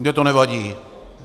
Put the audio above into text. Mně to nevadí.